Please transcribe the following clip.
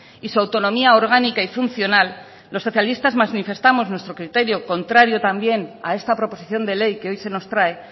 y su autonomía orgánica y funcional los socialistas manifestamos nuestro criterio contrario también a esta proposición de ley que hoy se nos trae